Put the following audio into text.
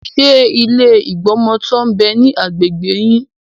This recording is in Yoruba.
Ṣé ilé ìgbọmọtọ́ ń bẹ ní agbègbè yí?